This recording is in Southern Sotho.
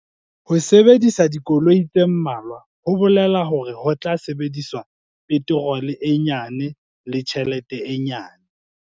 Ho sebedisa dikoloi tse mmalwa ho bolela hore ho tla sebediswa peterole e nyane le tjhelete e nyane.